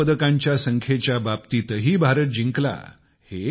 सुवर्ण पदकांच्या संख्येच्या बाबतीतही भारत जिंकला